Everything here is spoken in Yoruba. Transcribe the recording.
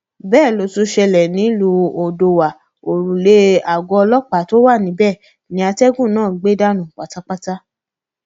bẹẹ ló tún ṣẹlẹ nílùú odòọwá òrùlé aago ọlọpàá tó wà níbẹ ni atẹgùn náà gbẹ dànù pátápátá